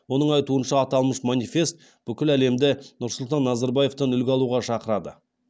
оның айтуынша аталмыш манифест бүкіл әлемді нұрсұлтан назарбаевтан үлгі алуға шақырады